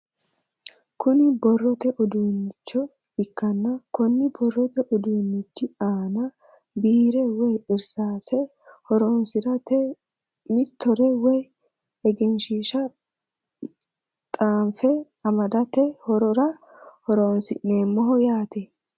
Kuni borrote uduunicho ikkanna koni borrote uduunichi aana biire woye irsaase horonsirate mitore woye egenshiisha xaanfe amadhate horora horonsi'neemoho yaate.